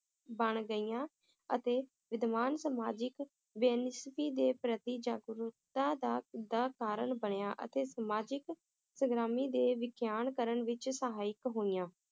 ਬਣ ਗਈਆਂ ਅਤੇ ਵਿਦਵਾਨ ਸਮਾਜਿਕ ਦੇ ਪ੍ਰਤੀ ਜਾਗਰੂਕਤਾ ਦਾ ਦਾ ਕਾਰਨ ਬਣਿਆ, ਅਤੇ ਸਮਾਜਿਕ ਸਗਰਾਮੀ ਦੇ ਵਿਖਿਆਨ ਕਰਨ ਵਿਚ ਸਹਾਇਕ ਹੋਈਆਂ